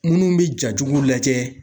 Minnu bɛ ja jugu lajɛ.